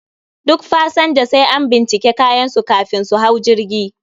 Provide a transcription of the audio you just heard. Duk pasanja sai an binciki kayan su kafin su hau jirgi